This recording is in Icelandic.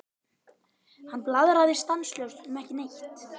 Hann blaðraði stanslaust um ekki neitt.